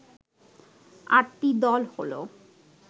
আটটি দল হলো